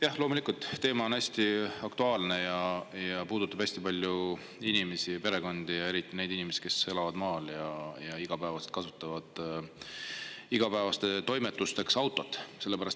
Jah, loomulikult, teema on hästi aktuaalne ja puudutab hästi paljusid inimesi ja perekondi, eriti neid inimesi, kes elavad maal ja kasutavad igapäevasteks toimetusteks autot.